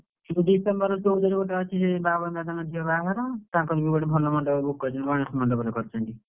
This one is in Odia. December ଚଉଦରେ ବାଅଛି, ସେ ବାବନ ଦାଦାଙ୍କ ଝିଅ ବାହାଘର, ତାଙ୍କର ବି ଗୋଟେ ଭଲ ମଣ୍ଡପରେ book କରିଛନ୍ତି, ଗଣେଶ ମଣ୍ଡପରେ କରିଛନ୍ତି।